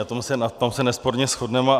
V tom se nesporně shodneme.